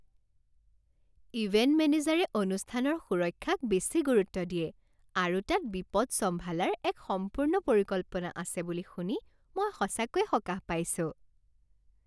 Event মেনেজাৰে অনুষ্ঠানৰ সুৰক্ষাক বেছি গুৰুত্ব দিয়ে আৰু তাত বিপদ চম্ভালাৰ এক সম্পূৰ্ণ পৰিকল্পনা আছে বুলি শুনি মই সঁচাকৈয়ে সকাহ পাইছোঁ।